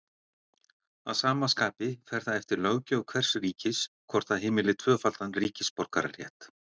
Að sama skapi fer það eftir löggjöf hvers ríkis hvort það heimili tvöfaldan ríkisborgararétt.